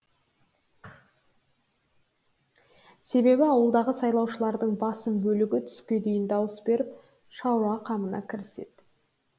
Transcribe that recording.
себебі ауылдағы сайлаушылардың басым бөлігі түске дейін дауыс беріп шаруа қамына кіреседі